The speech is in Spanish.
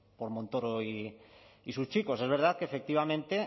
por montoro y sus chicos es verdad que efectivamente